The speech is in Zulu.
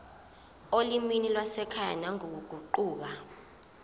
olimini lwasekhaya nangokuguquka